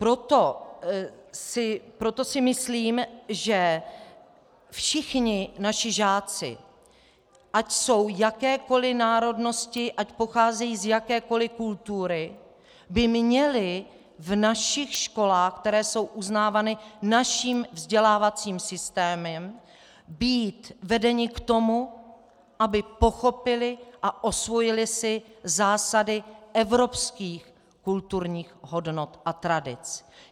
Proto si myslím, že všichni naši žáci, ať jsou jakékoliv národnosti, ať pocházejí z jakékoliv kultury, by měli v našich školách, které jsou uznávány naším vzdělávacím systémem, být vedeni k tomu, aby pochopili a osvojili si zásady evropských kulturních hodnot a tradic.